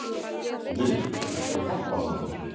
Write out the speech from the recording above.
Lilý, viltu hoppa með mér?